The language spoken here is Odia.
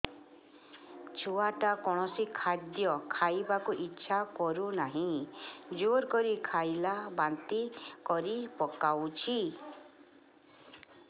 ଛୁଆ ଟା କୌଣସି ଖଦୀୟ ଖାଇବାକୁ ଈଛା କରୁନାହିଁ ଜୋର କରି ଖାଇଲା ବାନ୍ତି କରି ପକଉଛି